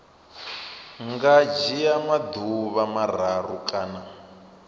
nga dzhia maḓuvha mararu kana